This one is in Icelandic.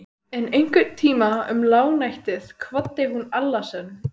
En einhvern tíma um lágnættið kvaddi hún Alla sinn.